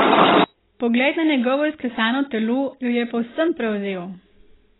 Pogled na njegovo izklesano telo jo je povsem prevzel.